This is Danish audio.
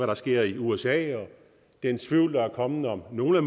der sker i usa og den tvivl der er kommet om nogle af